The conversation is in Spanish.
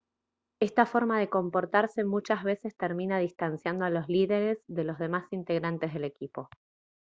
esta forma de comportarse muchas veces termina distanciando a los líderes de los demás integrantes del equipo